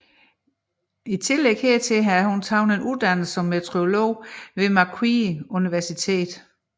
I tillæg hertil har hun taget en uddannelse som meteorolog ved Macquarie University